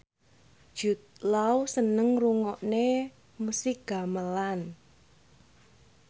Jude Law seneng ngrungokne musik gamelan